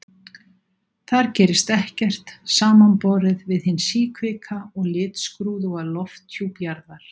Þar gerist ekkert, samanborið við hinn síkvika og litskrúðuga lofthjúp Jarðar.